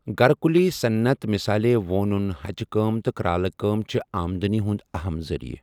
گھركٗلی صنعت مِثالے ، وونٗن ، ہچہِ كٲ م تہٕ كرالہٕ كٲم چھِ آمدنی ہٗند اہم ذرِیعہ۔